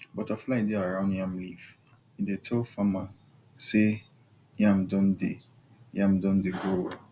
butterfly dey around yam leaf e dey tell farmer say yam don dey yam don dey grow well